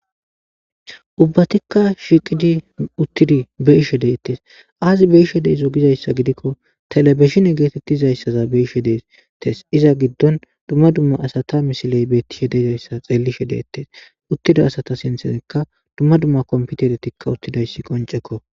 Ubbathikka shiiqidi uththidi be7ishe de7eeththes; aazee be7isho de7izoo gizayssa gidikko thelebezhine geetheththizayssaza be7ishe de7eeththes; iza giddon dumma dumma asatha misilee beeththishe de7izayssa xeellishe de7eeththes; uththida asatha sinththenikka dumma dumma komppitherethikka uththidayssi qonccekko.